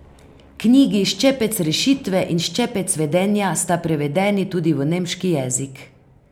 Knjigi Ščepec rešitve in Ščepec vedenja sta prevedeni tudi v nemški jezik.